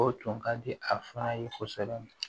O tun ka di a fa ye kosɛbɛ